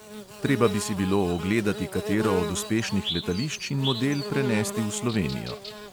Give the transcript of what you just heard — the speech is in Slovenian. Treba bi si bilo ogledati katero od uspešnih letališč in model prenesti v slovenijo.